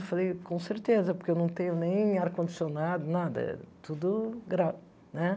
Eu falei, com certeza, porque eu não tenho nem ar-condicionado, nada, tudo né?